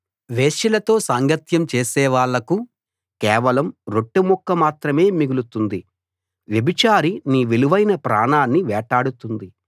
వేశ్యలతో సాంగత్యం చేసేవాళ్ళకు కేవలం రొట్టెముక్క మాత్రమే మిగులుతుంది వ్యభిచారి నీ విలువైన ప్రాణాన్ని వేటాడుతుంది